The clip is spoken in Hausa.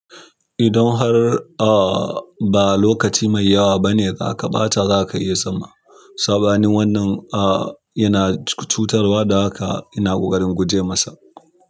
Idan har ah ba lokaci mai yawa ba ne za ka ɓata za ka iya zama. Sabanin wannan ah yana cutarwa, da haka ina ƙoƙarin guje masa.